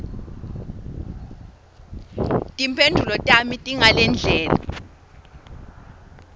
timphendvulo tami tingalendlela